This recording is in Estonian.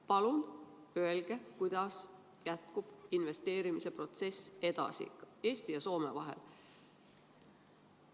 Palun öelge, kuidas jätkub investeerimise protsess Eesti ja Soome vahel!